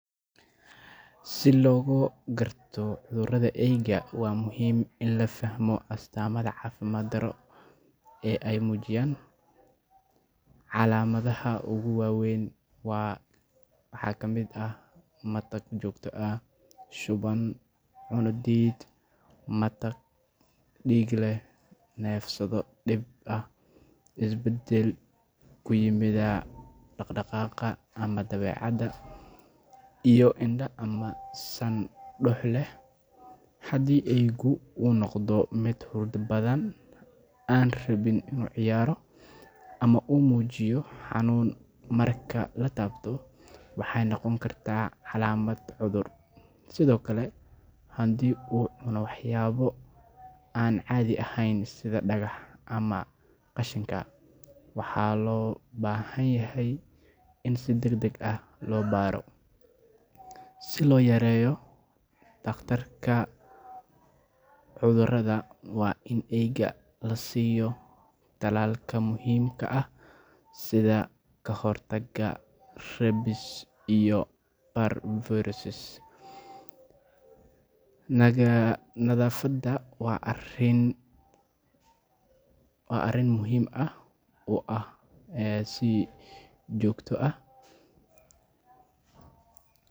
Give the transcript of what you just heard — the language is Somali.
Si loo garto cudurrada eyda, waa muhiim in la fahmo astaamaha caafimaad-darro ee ay muujiyaan. Calaamadaha ugu waaweyn waxaa ka mid ah matag joogto ah, shuban, cunno diid, matag dhiig leh, neefsasho dhib ah, isbedel ku yimaada dhaqdhaqaaqa ama dabeecadda, iyo indho ama san dux leh. Haddii eeygu uu noqdo mid hurda badan, aan rabin inuu ciyaaro, ama uu muujiyo xanuun marka la taabto, waxay noqon kartaa calaamad cudur. Sidoo kale, haddii uu cuno waxyaabo aan caadi ahayn sida dhagax ama qashinka, waxaa loo baahan yahay in si degdeg ah loo baaro. Si loo yareeyo khatarta cudurrada, waa in eeyga la siiyo tallaalka muhiimka ah sida ka hortagga rabies iyo parvovirus nadafadha wa arin muhim ah.